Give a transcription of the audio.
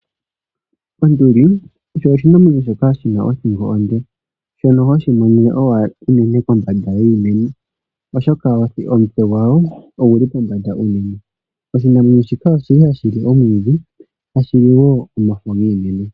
Onduli osho oshinamwenyo shoka shina othingo onde, shono hoshi monene owala unene pombanda yiimeno, oshoka omutse gwayo oguli pombanda unene. Oshinamwenyo shika oshi li hashi li omwiidhi, hashi li wo omafo giimeno.